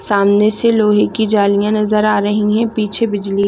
सामने से लोहे की जालियाँ नज़र आ रही है पीछे बिजली--